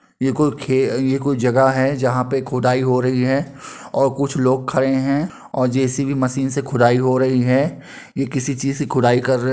ये कोई खे ये कोई जगह है जहां पे खुदाई हो रही है और कुछ लोग खड़े है और जे.सी.बी. मशीन से खुदाई हो रही है। ये किसी चीज से खुदाई कर रहे --